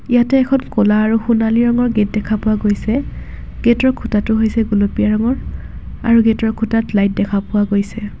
ইয়াতে এখন ক'লা আৰু সোণালী ৰঙৰ গেট দেখা পোৱা গৈছে গেটৰ খুঁটাটো হৈছে গুলপীয়া ৰঙৰ আৰু গেটৰ খুঁটাত লাইট দেখা পোৱা গৈছে।